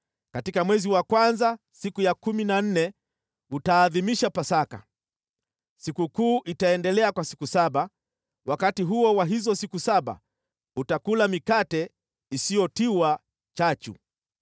“ ‘Katika mwezi wa kwanza siku ya kumi na nne utaadhimisha Pasaka. Sikukuu itaendelea kwa siku saba, wakati huo wa hizo siku saba mtakula mikate isiyotiwa chachu.